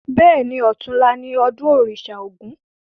Bẹ́ẹ̀ni, ọ̀tunla ni ọdún òrìṣà ògún